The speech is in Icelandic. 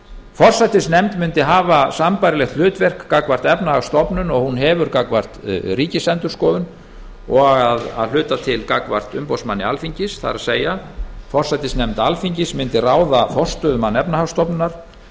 forsætisnefnd mundi hafa sambærilegt hlutverk gagnvart efnahagsstofnun og hún hefur gagnvart ríkisendurskoðun og að hluta til gagnvart umboðsmanni alþingis forsætisnefnd alþingis mundi ráða forstöðumann efnahagsstofnunar að